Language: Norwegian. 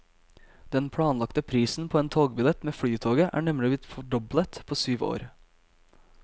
Den planlagte prisen på en togbillett med flytoget er nemlig blitt fordoblet på syv år.